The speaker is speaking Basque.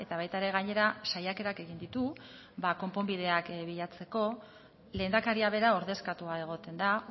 baita ere gainera saiakerak egin ditu konponbideak bilatzeko lehendakaria bera ordezkatua egoten da